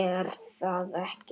er það ekki?